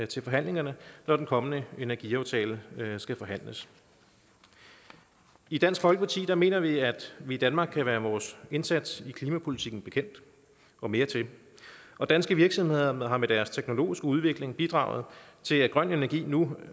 til forhandlingerne når den kommende energiaftale skal forhandles i dansk folkeparti mener vi at vi i danmark kan være vores indsats i klimapolitikken bekendt og mere til og danske virksomheder har med deres teknologiske udvikling bidraget til at grøn energi nu